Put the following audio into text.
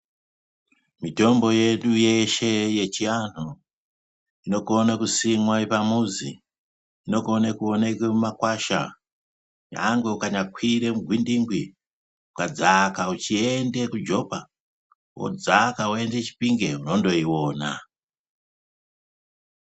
Mitombo yedu yeshe yechianhu inokone kusimwa pamuzi inokone kuoneke mumakwasha nyanhwe ukanyakwire mugwindingwi ukadzaka uchiende kujopa wodzaka woende chipimge unondoiona.